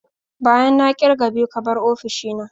Bayan na kirga biyu ka bar ofishina.